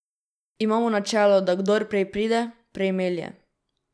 Imamo načelo, da kdor prej pride, prej melje.